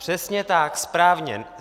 Přesně tak, správně.